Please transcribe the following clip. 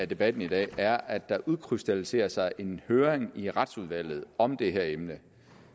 debatten i dag er at der udkrystalliserer sig en høring i retsudvalget om det her emne